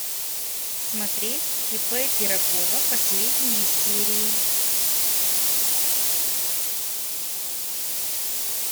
смотреть ип пирогова последние серии